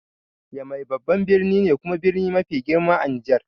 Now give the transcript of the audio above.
Yamai babban birni ne kuma birni mafi girma a Nijar.